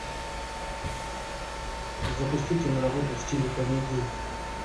запусти киноработу в стиле комедии